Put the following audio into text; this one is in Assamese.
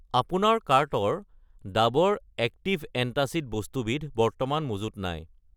আপোনাৰ কাৰ্টৰ ডাৱৰ এক্টিভ এন্টাচিড বস্তুবিধ বৰ্তমান মজুত নাই।